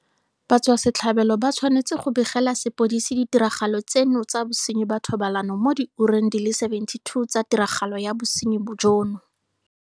Batswasetlhabelo ba tshwanetse go begela sepodisi ditiragalo tseno tsa bosenyi ba thobalano mo diureng di le 72 tsa tiragalo ya bosenyi jono.